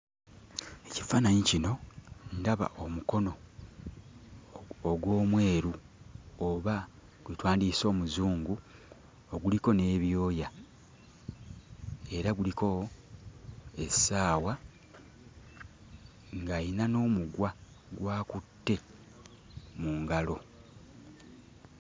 Mu kifaananyi kino, ndaba omukono ogw'Omweru oba gwe twandiyise Omuzungu oguliko n'ebyoya era guliko essaawa ng'ayina n'omuguwa gw'akutte mu ngalo.